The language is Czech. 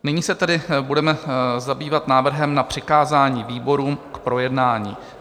Nyní se tedy budeme zabývat návrhem na přikázání výborům k projednání.